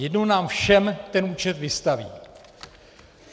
Jednou nám všem ten účet vystaví.